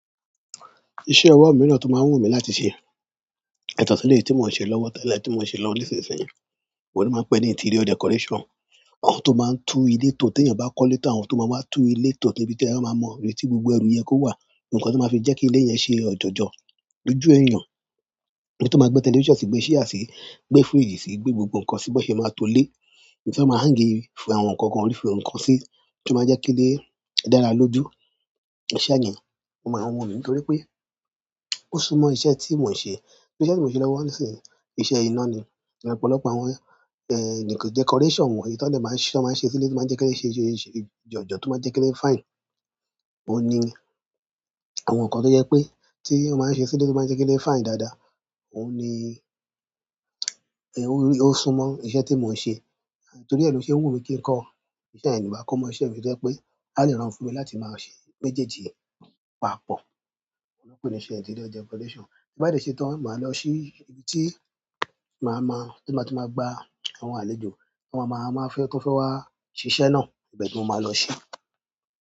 Iṣẹ́ ọwọ́ mìíràn tó máa wù mí láti ṣe, yàtọ̀ sí eleyii tí mò ń ṣe lọ́wọ́ tẹ́lẹ̀ tí mò ń ṣe lọ ní ìsinsìnyí, òun ni wọ́n pè ní interior decoration. Àwọn tó máa ń tú ilé tò tí ènìyàn bá kọ́ léètò, àwọn tó máa ń wá tú ilé tò níbi tí àwọn máa mọ ibi tí gbogbo ẹrù yẹn kó wà, ǹkan tó máa fi jẹ́ kí ilé yẹn ṣe ọ̀jọ̀jọ̀ lójú ènìyàn, ènì tó máa gbé television sí i, gbé ṣíà sí i, gbé fridge sí i, gbé gbogbo ǹkan síbí bọ́ ṣe máa tó lé. Ǹjẹ́ ẹ máa hang i fún àwọn nǹkan kan orí fún ǹkan sí, to máa jẹ́ kí ilé dára lójú ènìyàn. O maa n, wù mí nítorí pé ó súnmọ́ iṣẹ́ tí mò ń ṣe. Iṣẹ́ tí mò ń ṣe lọ́wọ́ nísinsìnyí, iṣẹ́ iná ni. Ọ̀pọ̀lọpọ̀ àwọn, eh, nǹkan decoration wọ̀nyí í tan de máa ń ṣe, máa ń ṣe sílé tó máa ń jẹ́ kí ó ṣe é ṣe jọ̀jọ̀ tó máa ń jẹ́ kí ó fíne. Óun ni àwọn nǹkan tó jẹ́ pé tí ó máa ń ṣe sílé tó máa ń jẹ́ kí ó fíne dáadáa, òun ni, eh, ó rí, ó súnmọ́ iṣẹ́ tí mò ń ṣe. Torí ẹ lo n ṣe wù mí kí n kọ́ iṣẹ́ yen, ni ba ko mọ̀ iṣẹ́ mi jẹ́ pé a lè ránrun fún mi láti máa ṣe méjèèjì papọ̀. Wọ́n pè é ní iṣẹ́ interior decoration. Ti bá de tán, màá lọ sí ibi tí màá ma, nigbatí màá, tí màá gba àwọn àlejò tí wọ́n máa ma fẹ́ tán fẹ́ wá ṣiṣẹ́ náà, ibẹ̀ ni mo máa lọ ṣe.